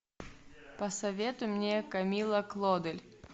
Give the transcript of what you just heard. посоветуй мне камилла клодель